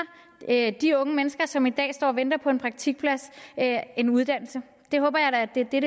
de unge mennesker som i dag står og venter på en praktikplads en uddannelse det håber jeg da at det er